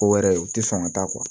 Ko wɛrɛ u tɛ sɔn ka taa